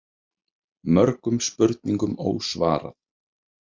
Mörgum spurningum ósvarað.